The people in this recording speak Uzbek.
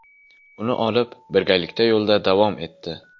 Uni olib, birgalikda yo‘lda davom etdi.